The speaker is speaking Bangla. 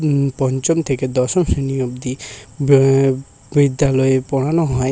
হুম পঞ্চম থেকে দশম শ্রেণী অব্দি বি বিদ্যালয়ে পড়ানো হয়।